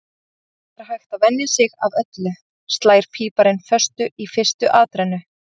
Það er hægt að venja sig af öllu, slær píparinn föstu í fyrstu atrennu.